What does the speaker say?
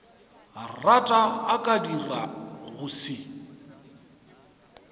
rata a ka dirago se